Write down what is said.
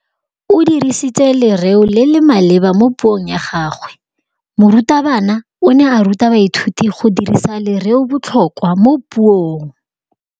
O dirisitse lerêo le le maleba mo puông ya gagwe. Morutabana o ne a ruta baithuti go dirisa lêrêôbotlhôkwa mo puong.